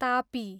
Tapi